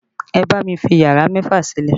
Ẹ bá mi fi yàrá mẹ́fà sílẹ̀!